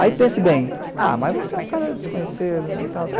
Aí pense bem, ah, mas você é um cara desconhecido e tal.